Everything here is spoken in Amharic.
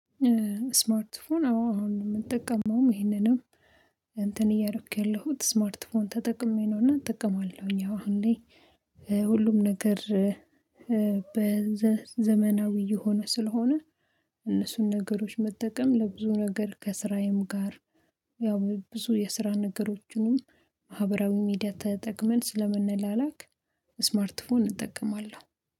ስማርት ፎን አዎ አሁን ምንጠቀመውም ይሄንንም እንትን እያረክ ያለሁት ስማርት ፎን ተጠቅሜ ነው። እና እጠቀማለሁኝ አዎ አሁን ላይ ሁሉም ነገር በዘ ዘመናዊ እየሆነ ስለሆነ እነሱን ነገሮች መጠቀም ለብዙ ነገር ከስራዬም ጋር ያው ብዙ የስራ ነገሮችንም ማህብራዊ ሚዲያ ተጠቅመን ስለምንላላክ ስማርት ፎን እጠቀማለሁ